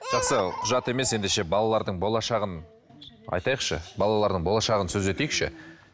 жақсы құжат емес ендеше балалардың болашағын айтайықшы балалардың болашағын сөз етейікші